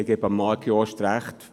Ich gebe Marc Jost recht: